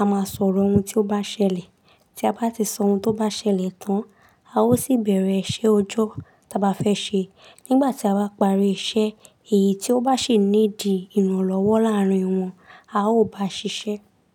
a máa sọ̀rọ̀ ohun tí ó bá ṣẹlẹ̀, tí a bá ti sọ ohun tó bá ṣẹlẹ̀ tán, a ó sì bẹ̀rẹ̀ iṣẹ́ ọjọ́ tí a bá fẹ́ ṣe. Nígbà tí a bá parí iṣẹ́, èyí tí ó bá ṣe need ìrànlọ́wọ́ láàárín wọn, a ó bá ṣiṣẹ́